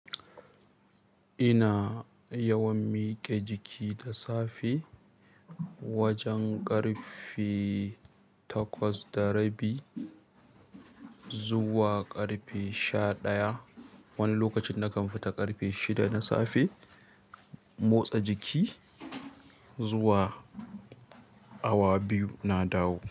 Ina yawan miƙe jiki da safe wajen ƙarfe takwas da rabi zuwa ƙarfe sha ɗaya. Wani lokacin nakan fita ƙarfe shida na safe motsa jiki zuwa awa biyu na dawo.